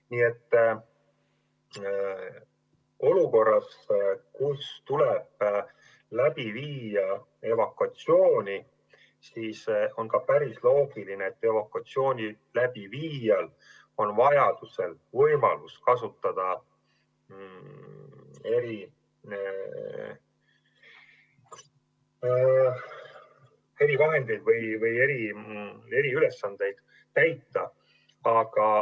Nii et olukorras, kus tuleb läbi viia evakuatsiooni, on päris loogiline, et evakuatsiooni läbiviijal on vajaduse korral võimalus kasutada erivahendeid ja täita eriülesandeid.